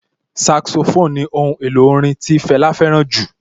Saxophone ni ohun èlò orin tí Fẹlá fẹ́ràn jù